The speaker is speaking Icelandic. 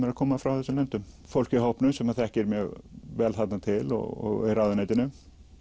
eru að koma frá þessum löndum það fólk í hópnum sem þekkir mjög vel þarna til og úr ráðuneytinu